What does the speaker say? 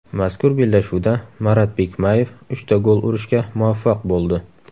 Mazkur bellashuvda Marat Bikmayev uchta gol urishga muvaffaq bo‘ldi.